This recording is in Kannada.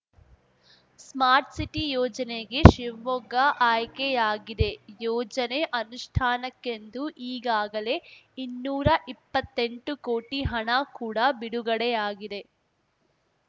ಸ್ಮಾರ್ಟ್‌ಸಿಟಿ ಯೋಜನೆಗೆ ಶಿವಮೊಗ್ಗ ಆಯ್ಕೆಯಾಗಿದೆ ಯೋಜನೆ ಅನುಷ್ಠಾನಕ್ಕೆಂದು ಈಗಾಗಲೇ ಇನ್ನೂರಾ ಇಪ್ಪತ್ತೆಂಟು ಕೋಟಿ ಹಣ ಕೂಡ ಬಿಡುಗಡೆಯಾಗಿದೆ